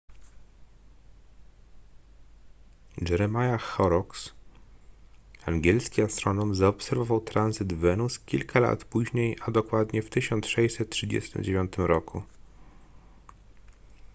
jeremiah horrocks angielski astronom zaobserwował tranzyt wenus kilka lat później a dokładnie w 1639 roku